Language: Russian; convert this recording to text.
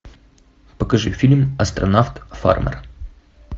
покажи фильм астронавт фармер